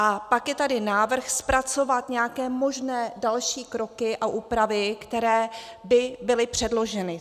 A pak je tady návrh zpracovat nějaké možné další kroky a úpravy, které by byly předloženy.